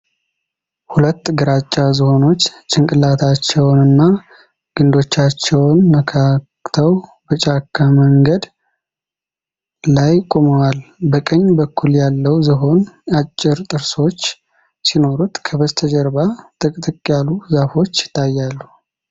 ሁለት ግራጫ ዝሆኖች ጭንቅላታቸውንና ግንዶቻቸውን ነካክተው በጫካ መንገድ ላይ ቆመዋል። በቀኝ በኩል ያለው ዝሆን አጭር ጥርሶች ሲኖሩት ከበስተጀርባ ጥቅጥቅ ያሉ ዛፎች ይታያሉ።